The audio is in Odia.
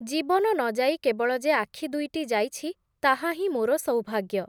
ଜୀବନ ନ ଯାଇ କେବଳ ଯେ ଆଖିଦୁଇଟି ଯାଇଛି ତାହାହିଁ ମୋର ସୌଭାଗ୍ୟ ।